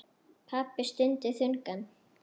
Pabbi stundi þungan.